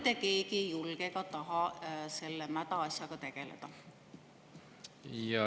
… mitte keegi ei julge ega taha selle mäda asjaga tegeleda?